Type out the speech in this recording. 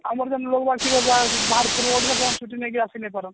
ଆମର ଯୋଉ ବାହାରେ ପଢୁଛନ ସବୁ ଛୁଟି ନେଇକି ଆସିନାଇ ପାରନ